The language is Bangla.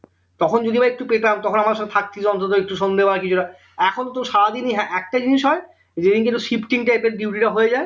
তখন যদিও বা একটু পেতাম তখন আমাদের সঙ্গে অন্তত একটু সন্ধেবেলা কিছুটা এখন তো সারাদিনই হ্যাঁ একটা জিনিস হয় যে দিনকে তোর shifting type এর duty টা হয়ে যাই